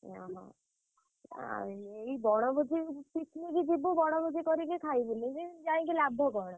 ଅହ ଆଉ ଏଇ ବଣଭୋଜି picnic ଯିବୁ ବଣଭୋଜି କରିକି ଖାଇବୁନି ଯି ଯାଇକି ଲାଭ କଣ।